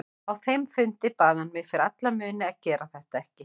Á þeim fundi bað hann mig fyrir alla muni að gera þetta ekki.